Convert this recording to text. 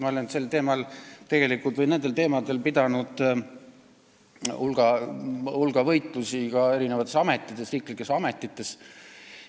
Ma olen sellel või nendel teemadel pidanud hulga võitlusi ka erinevates riigiametites.